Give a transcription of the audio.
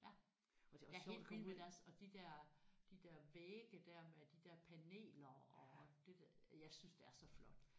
Ja jeg er helt vild med deres og de der de der vægge der med de der paneler og det der jeg synes det er så flot